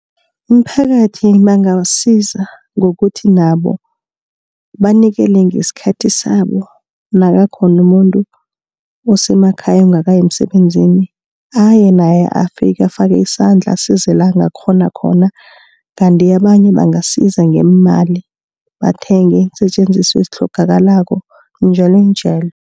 Imiphakathi bangabasiza ngokuthi nabo banikele ngesikhathi sabo nakakhona umuntu osemakhaya ongakayi emsebenzini. Aye naye afike afake isandla asize la ongakghona khona. Kandi abanye bangasiza ngeemali bathenge iinsetjenziswa ezitlhogakalako njalonjalo.